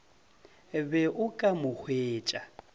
be o ka mo hwetša